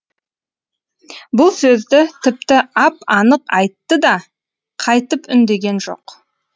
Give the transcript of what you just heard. бұл сөзді тіпті ап анық айтты да қайтып үндеген жоқ